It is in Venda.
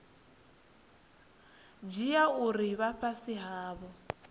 dzhia uri vha fhasi havho